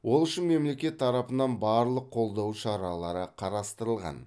ол үшін мемлекет тарапынан барлық қолдау шаралары қарастырылған